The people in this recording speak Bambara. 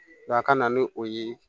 a ka na ni o ye